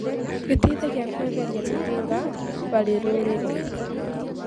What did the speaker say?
Gĩteithagia kũeheria mĩhĩng harĩ rũrĩrĩ.